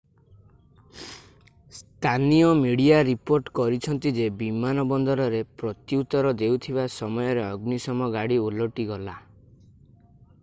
ସ୍ଥାନୀୟ media report କରିଛନ୍ତି ଯେ ବିମାନବନ୍ଦରରେ ପ୍ରତ୍ୟୁତର ଦେଉଥିବା ସମୟରେ ଅଗ୍ନିଶମ ଗାଡି ଓଲଟିଗଲା